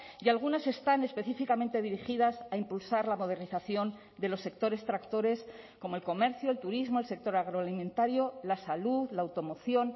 y algunas están específicamente dirigidas a impulsar la modernización de los sectores tractores como el comercio el turismo el sector agroalimentario la salud la automoción